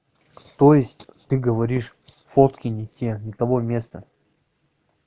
то есть ты говоришь фотки не те не того места